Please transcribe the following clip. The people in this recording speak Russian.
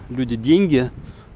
люди деньги